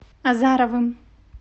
азаровым